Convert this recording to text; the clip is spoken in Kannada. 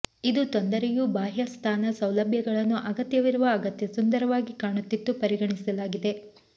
ಇದು ತೊಂದರೆಯೂ ಬಾಹ್ಯ ಸ್ಥಾನ ಸೌಲಭ್ಯಗಳನ್ನು ಅಗತ್ಯವಿರುವ ಅಗತ್ಯ ಸುಂದರವಾಗಿ ಕಾಣುತ್ತಿತ್ತು ಪರಿಗಣಿಸಲಾಗಿದೆ